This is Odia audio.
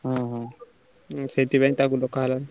ସେଇଥିପାଇଁ ତାକୁ ଡାକ ହେଲା।